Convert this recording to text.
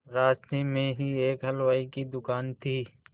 रास्ते में ही एक हलवाई की दुकान थी